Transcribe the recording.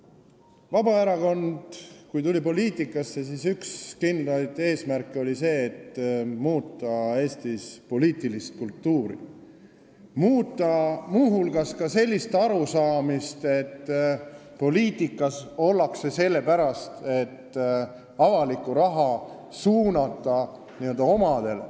Kui Vabaerakond tuli poliitikasse, siis üks kindlaid eesmärke oli muuta Eestis poliitilist kultuuri, muuta muu hulgas sellist arusaama, et poliitikas ollakse sellepärast, et suunata avalikku raha n-ö omadele.